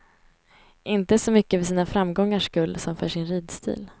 Inte så mycket för sina framgångars skull som för sin ridstil.